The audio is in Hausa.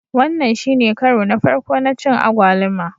Wannan shine karo na farko na cin agwaluma